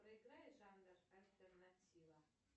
проиграй жанр альтернатива